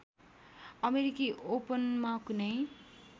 अमेरिकी ओपनमा कुनै